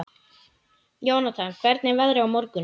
Jónatan, hvernig er veðrið á morgun?